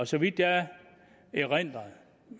så vidt jeg erindrer